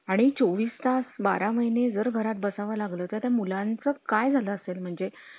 आणि चॉवीस तास, बारा महिने जर घरात बसावं लागलं तर मुलांचं काय झाला असेल म्हणजे